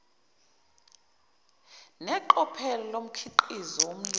neqophelo lomkhiqizo wolimi